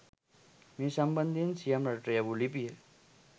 මේ සම්බන්ධයෙන් සියම් රටට යැවූ ලිපිය